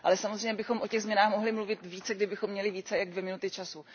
Ale samozřejmě bychom o těch změnách mohli mluvit více, kdybychom měli více než dvě minuty času.